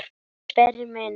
Elsku Sverrir minn.